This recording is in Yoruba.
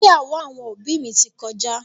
ìgbéyàwó àwọn òbí mi ti kọjá.